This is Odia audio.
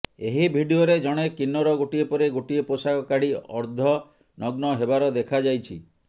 ଏହି ଭିଡ଼ିଓରେ ଜଣେ କିନ୍ନର ଗୋଟିଏ ପରେ ଗୋଟିଏ ପୋଷାକ କାଢ଼ି ଅର୍ଦ୍ଧନଗ୍ନ ହେବାର ଦେଖାଯାଇଛି